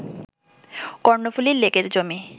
কর্ণফুলী লেকের জমি